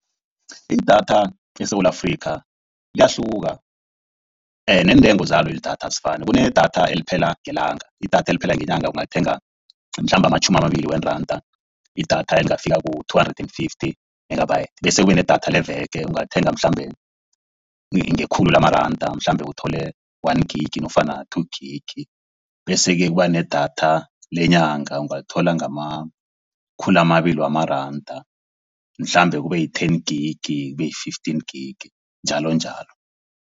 Idatha eSewula Afrika liyahluka neentengo zalo lidatha azifani. Kunedatha eliphela ngelanga, idatha eliphela ngelanga ungalithenga mhlambe amatjhumi amabili wamaranda. Idatha elingafikela ku-two hundred and fifty megabytes, bese kube nedatha leveke ungalithenga mhlambe ngekhulu lamaranda. Mhlambe uthole-one gig nofana-two gig bese-ke kuba nedatha lenyanga. Ungalithola ngamakhulu amabili wamaranda, mhlambe kube yi-ten gig kube yi-fifteen gig njalonjalo.